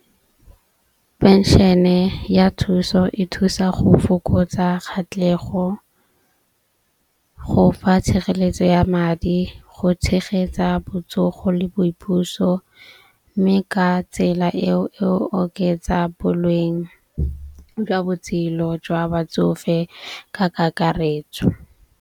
Penšene ya thuso e thusa go fokotsa kgatlhego, go fa tshireletso ya madi, go tshegetsa botsogo le boipuso. Mme ka tsela e o oketsa boleng jwa botshelo jwa batsofe ka kakaretso.